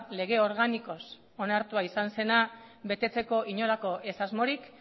lege organikoz onartua izan zena betetzeko inolako ez asmorik